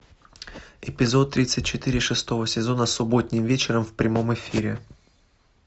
эпизод тридцать четыре шестого сезона субботним вечером в прямом эфире